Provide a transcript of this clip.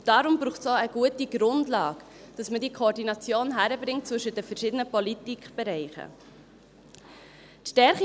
Deshalb braucht es auch eine gute Grundlage, damit man diese Koordination zwischen den verschiedenen Politikbereichen hinkriegt.